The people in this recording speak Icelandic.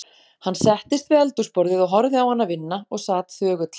Hann settist við eldhúsborðið og horfði á hana vinna og sat þögull.